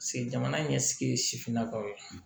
jamana ɲɛsigi sifinnakaw ye